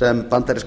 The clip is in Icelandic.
sem bandaríska